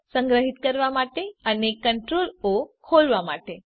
CtrlS સંગ્રહીત કરવા માટે અને CtrlO ખોલવા માટે